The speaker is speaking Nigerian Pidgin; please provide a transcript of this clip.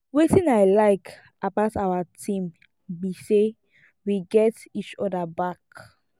wetin i like about our team be say we get each other back